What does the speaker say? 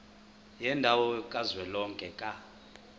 yendawo kazwelonke ka